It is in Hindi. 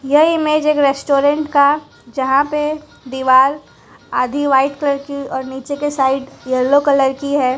यह इमेज एक रेस्टोरेंट का जहां पे दीवाल आधी व्हाइट कलर की और नीचे के साइड येलो कलर की है।